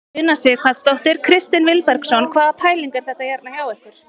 Una Sighvatsdóttir: Kristinn Vilbergsson hvaða pæling er þetta hérna hjá ykkur?